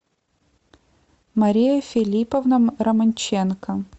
мария филипповна романченко